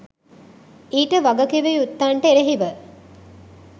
ඊට වගකිවයුත්තන්ට එරෙහිව